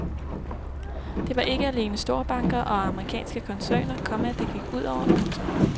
Det var ikke alene storbanker og amerikanske koncerner, komma det gik ud over. punktum